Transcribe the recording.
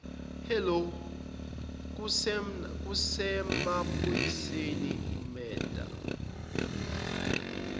hello kusemaphoyiseni imurder